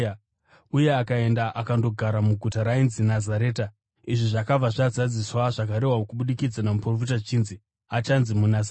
uye akaenda akandogara muguta rainzi Nazareta. Izvi zvakabva zvazadzisa zvakarehwa kubudikidza navaprofita zvichinzi, “Achanzi muNazareta.”